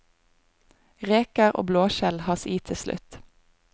Reker og blåskjell has i tilslutt.